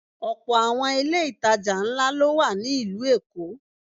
Ọ̀pọ̀ àwọn ilé ìtajà ńlá ló wà ní ìlú Èkó.